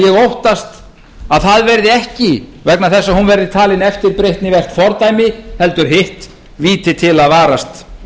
óttast að það verði ekki vegna þess að hún verði talin eftirbreytnivert fordæmi heldur hitt víti til að varast